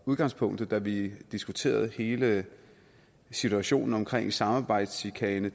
udgangspunkt da vi diskuterede hele situationen omkring samarbejdschikane